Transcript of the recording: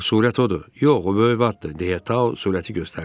Axı surət odur, yox o böyük vattır deyə surəti göstərdi.